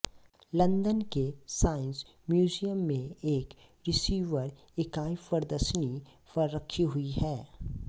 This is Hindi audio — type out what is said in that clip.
लंदन के साइंस म्यूज़ियम में एक रिसीवर इकाई प्रदर्शनी पर रखी हुई है